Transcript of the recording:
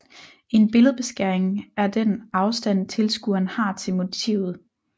En billedbeskæring er den afstand tilskueren har til motivet